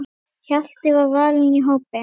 Hjalti var valinn í hópinn.